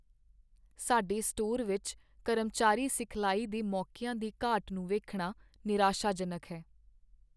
ਸਾਡੇ ਸਟੋਰ ਵਿੱਚ ਕਰਮਚਾਰੀ ਸਿਖਲਾਈ ਦੇ ਮੌਕੀਆਂ ਦੀ ਘਾਟ ਨੂੰ ਵੇਖਣਾ ਨਿਰਾਸ਼ਾਜਨਕ ਹੈ।